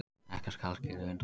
Ekkert skal skilið undan.